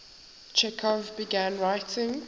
chekhov began writing